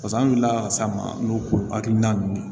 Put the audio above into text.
pase an wulila ka s'a ma n'o hakilina ye